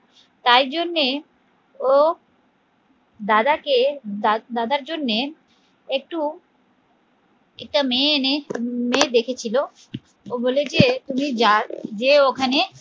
তাই জন্যে ও দাদাকে দাদার জন্যে একটু একটা মেয়ে এনে মেয়ে দেখেছিল ও বলে যে তুমি যাও, যে ওখানে